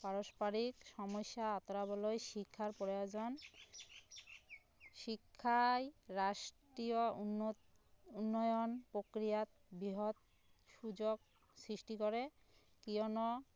পাৰস্পৰিক সম্যসা আঁতৰাবলৈ শিক্ষাৰ প্ৰয়োজন শিক্ষায় ৰাষ্ট্ৰীয় উন্নয়ন প্ৰক্ৰিয়াক বৃহৎ সুযোগ সৃষ্টি কৰে কিয়নো